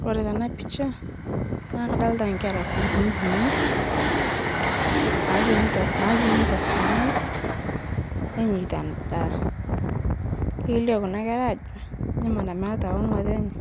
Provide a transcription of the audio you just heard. Kore tana picha naa kadolita nkera kuninii nawenii tosunyai nenyeita ndaa keilio kuna kera ajoo ijo mara meata ong'otenye